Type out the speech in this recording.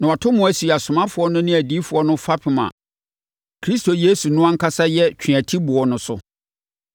na wɔato mo asi asomafoɔ no ne adiyifoɔ no fapem a Kristo Yesu no ankasa yɛ ne tweatiboɔ no so.